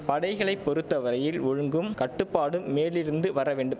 படைகளை பொறுத்த வரையில் ஒழுங்கும் கட்டுப்பாடும் மேலிருந்து வரவேண்டும்